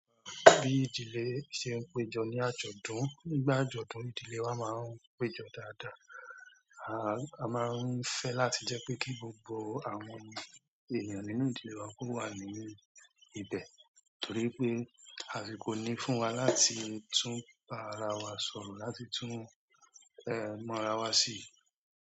Bí ìdílé ṣe ń péjọ ní àjọ̀dún, nígbà àjọ̀dún ìdílé wa máa ń péjọ dáadáa. A máa ń fẹ́ láti jẹ́ pé kí gbogbo àwọn ènìyàn nínú ìdílé wa kó wà ní ibẹ̀ torí pé àsìkò ní fún wa láti tún bá ara wa sọ̀rọ̀, láti tún mọ ara wa sí.